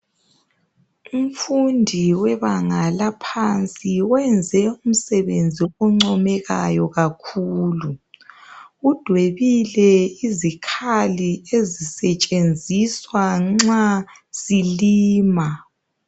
Umfundi webanga eliphansi wenze umsebenzi oncomekayo kakhulu udwebile izikhali ezisetshenziswa nxa silima